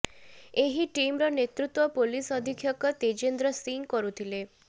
ଏହି ଟିମର ନେତୃତ୍ୱ ପୋଲିସ ଅଧିକ୍ଷକ ତେଜେନ୍ଦ୍ର ସିଂ କରୁଥିଲେ